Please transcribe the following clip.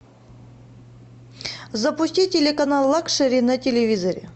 запусти телеканал лакшери на телевизоре